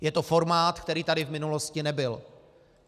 Je to formát, který tady v minulosti nebyl.